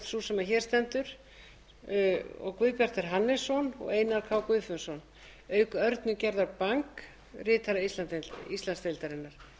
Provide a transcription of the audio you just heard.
sú sem hér stendur guðbjartur hannesson og einar k guðfinnsson auk örnu gerðar bang ritara íslandsdeildarinnar